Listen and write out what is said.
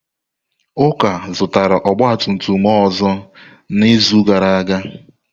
Uka zụtara ọgba tum tum ọzọ n'izu gara aga?